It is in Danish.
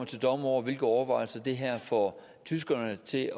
til dommer over hvilke overvejelser det her får tyskerne til at